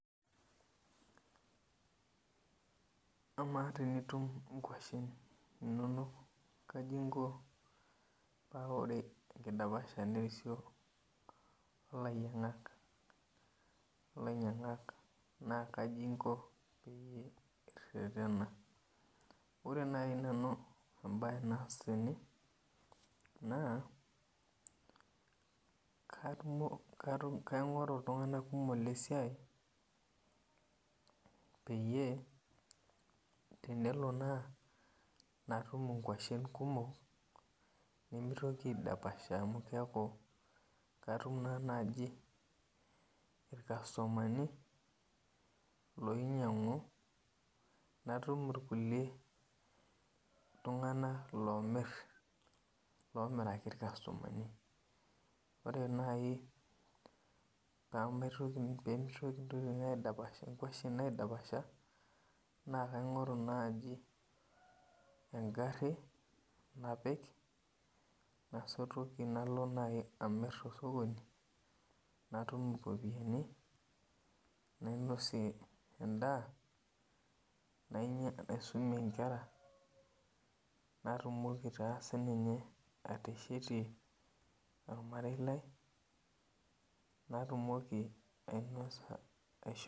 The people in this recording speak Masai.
Amaa tenitum nkwashen inonok kaji inko paa ore enkidapashata nerisio o lanyiang'ak naa kaji inko peyie irretena? Ore nai nanu em'bae naas tene naa kaiingoru iltunganak kumok lesiai peyie tenelo naa natum ngwashen kumok nimitoki aidapasha amu keeku katum naa naaji ilkasumani lonyang'u natum kulie tung'anak loomiraki ilkasumani Ore nai piimitoki ingwashen aidapasha naa kaing'oru naaji engharhi napik nasotoki nalo nai amir tosokoni natum iropiani nainosie en'daa naisumie inkera natumoki taa siininye ateshetie olmarei lai natumoki